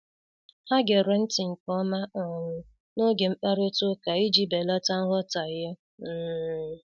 Ha gere nti nke ọma um n'oge mkparịta ụka iji belata nghọtahie. um